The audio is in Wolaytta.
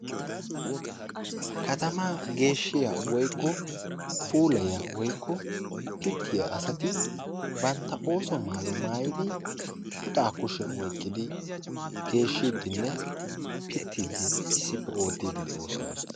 Katama geeshshiya woykko puulayiyya woykko pitiyaa asati bantta oosuwa maattuwa maayyidi puxa kushiyaan oyqqidi, geeshshidinne pittide issippe oottidi de'oosona